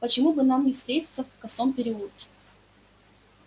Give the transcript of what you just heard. почему бы нам не встретиться в косом переулке